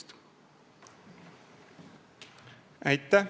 Aitäh!